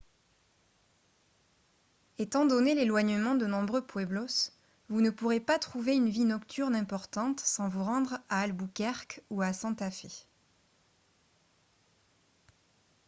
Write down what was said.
étant donné l'éloignement de nombreux pueblos vous ne pourrez pas trouver une vie nocturne importante sans vous rendre à albuquerque ou à santa fe